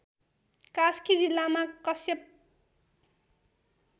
कास्की जिल्लामा कश्यप